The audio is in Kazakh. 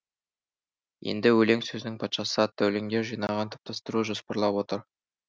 енді өлең сөздің патшасы атты өлеңдер жинағын топтастыру жоспарлап отыр